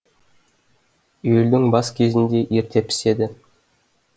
июльдің бас кезінде ерте піседі